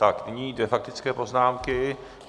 Tak nyní dvě faktické poznámky.